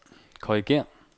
korrigér